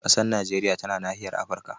Ƙasar Najeriya tana nahiyar Afirka.